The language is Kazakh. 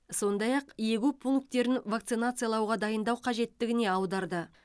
сондай ақ егу пункттерін вакцинациялауға дайындау қажеттігіне аударды